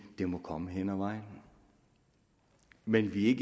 det må komme hen ad vejen men vi er